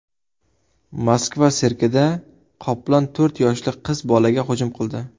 Moskva sirkida qoplon to‘rt yoshli qiz bolaga hujum qildi.